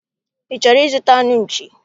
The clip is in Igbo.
Ị chọrọ ịzụta anụ nchi?